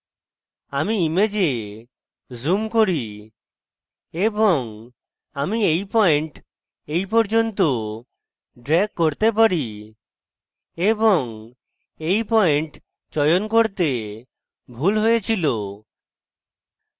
আমি image zoom করি এবং আমি এই পয়েন্ট এই পর্যন্ত ড্রেগ করতে পারি এবং এই পয়েন্ট চয়ন করতে ভুল হয়েছিল